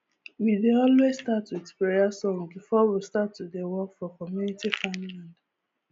we dey always start with prayer songs before we start to dey work for community farmland